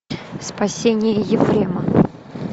спасение ефрема